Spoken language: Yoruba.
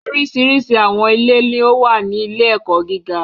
Oríṣiríṣi àwọn ilé ni ó wà ní ilé-ẹ̀kọ́ gíga.